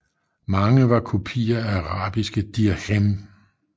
Mange var kopier af arabiske dirhem